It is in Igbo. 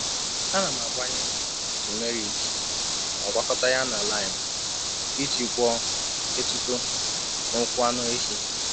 Ana m agbanye turmeric ma gwakọta ya na lime iji gwọọ étúto n’ụkwụ anụ ehi.